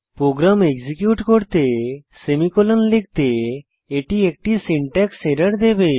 programme execute করতে semicolon লিখতে এটি একটি সিনট্যাক্স এরর দেবে